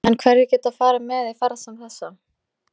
En hverjir geta farið með í ferð sem þessa?